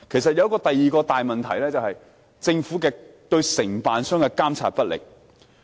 第二個大問題是政府對承辦商的監管不力。